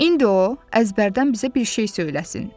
İndi o, əzbərdən bizə bir şey söyləsin.